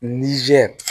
Nizeri